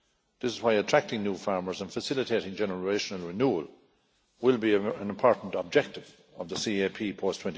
This is why attracting new farmers and facilitating generational renewal will be an important objective of the CAP post